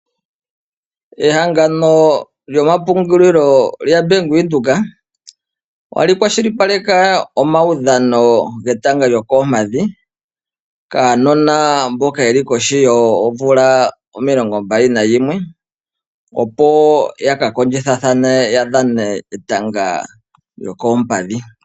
Ehangano lyomapungulilo lya Bank Windhoek otali kwa shilipaleke omawudhano getanga lyookompadhi kaanona mboka yeli kohi yoomvula omilongo mbali nayimwe, opo ya ka kondjitha thane ya dhane etanga lyokoompadhi.